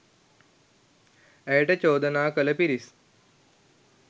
ඇයට චෝදනා කළ පිරිස්